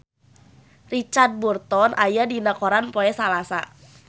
Richard Burton aya dina koran poe Salasa